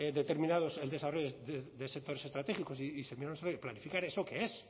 determinados desarrollos de sectores estratégicos y planificar eso qué es